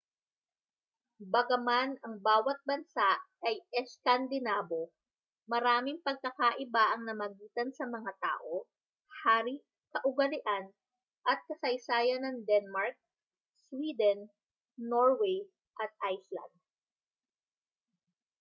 bagaman ang bawa't bansa ay eskandinabo' maraming pagkakaiba ang namagitan sa mga tao hari kaugalian at kasaysayan ng denmark sweden norway at iceland